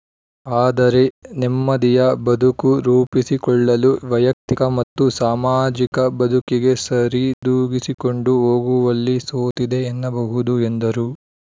ಆದರೆ ನೆಮ್ಮದಿಯ ಬದುಕು ರೂಪಿಸಿಕೊಳ್ಳಲು ವೈಯಕ್ತಿಕ ಮತ್ತು ಸಾಮಾಜಿಕ ಬದುಕಿಗೆ ಸರಿದೂಗಿಸಿಕೊಂಡು ಹೋಗುವಲ್ಲಿ ಸೋತಿದೆ ಎನ್ನಬಹುದು ಎಂದರು